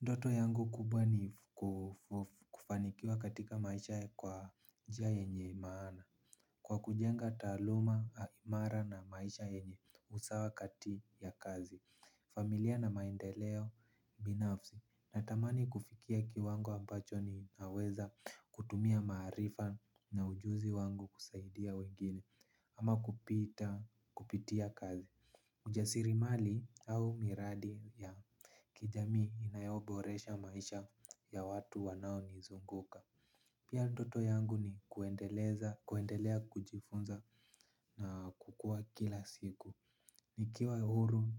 Ndoto yangu kubwa ni kufanikiwa katika maisha kwa njia yenye maana. Kwa kujenga taaluma imara na maisha yenye usawa kati ya kazi, familia na maendeleo binafsi. Natamani kufikia kiwango ambacho ninaweza kutumia maarifa na ujuzi wangu kusaidia wengine. Ama kupitia kazi. Kujasiri mali au miradi ya kijamii inayoboresha maisha ya watu wanaonizunguka. Pia ndoto yangu ni kuendelea kujifunza na kukua kila siku. Nikiwa huru